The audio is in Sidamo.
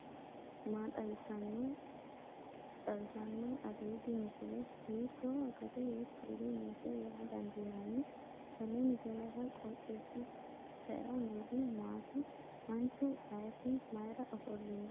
maa xawissanno aliidi misile ? hiitto akati woy kuuli noose yaa dandiinanni tenne misilera? qooxeessisera noori maati ? manchu ayeti mayra ofollino kowiicho